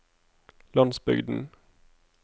landsbygden